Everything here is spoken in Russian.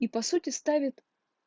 и по сути ставит